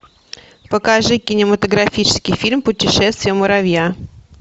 покажи кинематографический фильм путешествие муравья